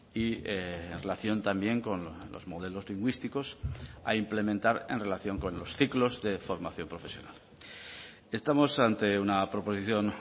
y en relación también con los modelos lingüísticos a implementar en relación con los ciclos de formación profesional estamos ante una proposición